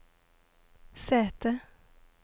sete